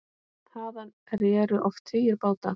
Þaðan réru oft tugir báta.